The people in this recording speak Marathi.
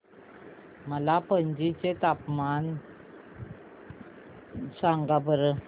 मला पणजी चे तापमान सांगा बरं